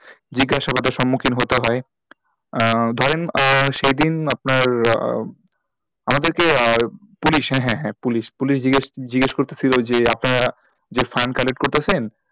জিজ্ঞাসাবাদের সম্মুখীন হতে হয় আহ ধরেন আহ সেই দিন আপনার আহ আমাদেরকে আহ পুলিশ হ্যাঁ, হ্যাঁ, হ্যাঁ পুলিশ পুলিশ জিগ্যেস জিগ্যেস করছিলো যে আপনারা যে fund collect করতাছেন